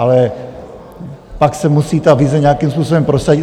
Ale pak se musí ta vize nějakým způsobem prosadit.